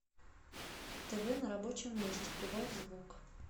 тв на рабочем месте прибавь звук